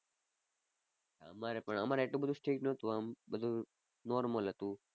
અમારે પણ અમારે એટલું બધુ strict નહોતું આમ બધુ normal હતું.